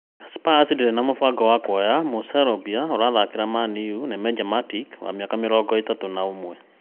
Spurs ndĩrĩ na mũbango wa kuoya mũ-Serbia ũrathakĩra Man-u Nemanja Matic wa mĩaka mĩrongo ĩtatũ na ũmwe